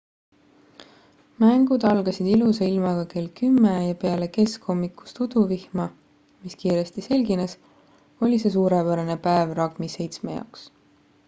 mängud algasid ilusa ilmaga kell 10:00 ja peale keskhommikust uduvihma mis kiiresti selgines oli see suurepärane päev ragbi-7 jaoks